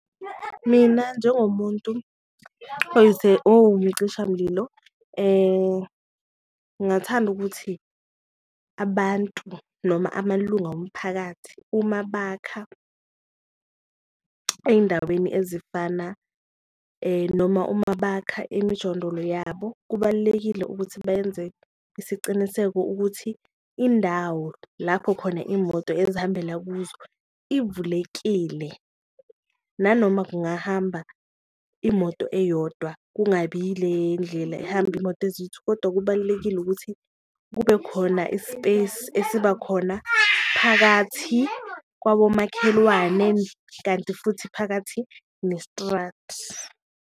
Mina njengomuntu owumcishamlilo ngathanda ukuthi abantu noma amalunga womphakathi uma bakha eyindaweni ezifana noma uma bakha emijondolo yabo, kubalulekile ukuthi benze isiciniseko ukuthi indawo lapho khona imoto ezihambela kuzo ivulekile. Nanoma kungahamba imoto eyodwa kungabi ile ndlela ehamba imoto ezithu kodwa kubalulekile ukuthi kube khona i-space esiba khona phakathi kwabomakhelwane, kanti futhi phakathi nestradi.